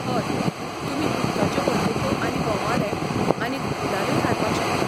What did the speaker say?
हय, तुमी उदकाच्यो बंदूको आनी बोमाडे, आनीक गुलालूय हाडपाक शकतात.